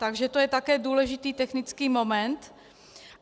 Takže to je také důležitý technický moment.